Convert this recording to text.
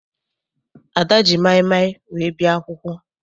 Ada ji maịmaị wee bịa akwụkwọ.